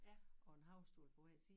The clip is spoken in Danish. Og en havestol på hver side